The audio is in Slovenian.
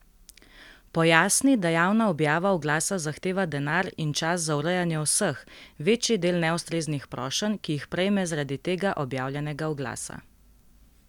Pojasni, da javna objava oglasa zahteva denar in čas za urejanje vseh, večji del neustreznih prošenj, ki jih prejme zaradi tega objavljenega oglasa.